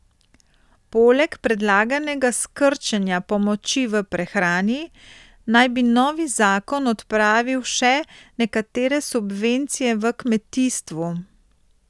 Poleg predlaganega skrčenja pomoči v prehrani naj bi novi zakon odpravil še nekatere subvencije v kmetijstvu.